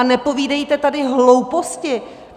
A nepovídejte tady hlouposti.